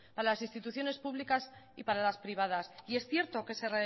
para las instituciones públicas y para las privadas y es cierto que se